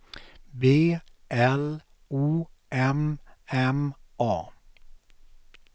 B L O M M A